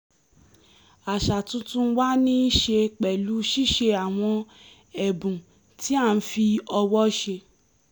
àṣà tuntun wa ní í ṣe pẹ̀lú ṣíṣe àwọn ẹ̀bùn tí a fi ọwọ́ ṣe